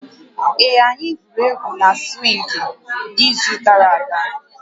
Ee, anyị gwuru égwu na swịngị n'izu gara aga